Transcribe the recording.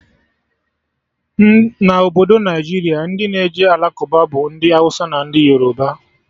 Na Obodo Naijiria, ndị na-eje Alakụba bụ ndị Awụsa na ndị Yoroba